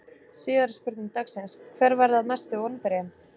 Síðari spurning dagsins: Hver verða mestu vonbrigðin?